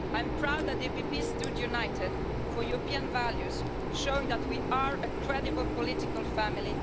I am proud the PPE stood united for European values, showing that we are a credible political family.